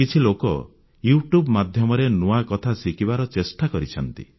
କିଛି ଲୋକ YouTube ମାଧ୍ୟମରେ ନୂଆ କଥା ଶିଖିବାର ଚେଷ୍ଟା କରିଛନ୍ତି